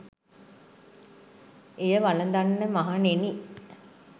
එය වළඳන්න මහණෙනි!